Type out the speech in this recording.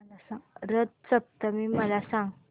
रथ सप्तमी मला सांग